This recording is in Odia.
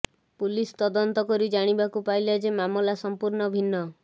ପୁଲିସ୍ ତଦନ୍ତ କରି ଜାଣିବାକୁ ପାଇଲା ଯେ ମାମଲା ସଂପୂର୍ଣ୍ଣ ଭିନ୍ନ